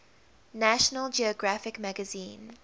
national geographic magazine